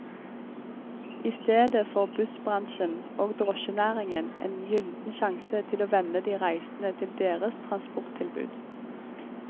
I stedet får bussbransjen og drosjenæringen en gylden sjanse til å venne de reisende til deres transporttilbud.